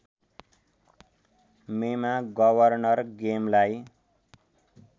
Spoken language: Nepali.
मेमा गवर्नर गेमलाई